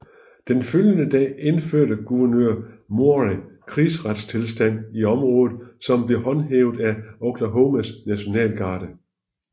Den følgende dag indførte guvernør Murray krigsretstilstand i området som blev håndhævet af Oklahomas nationalgarde